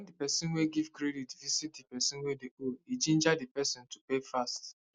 when di person wey give credit visit di person wey dey owe e ginger di person to pay fast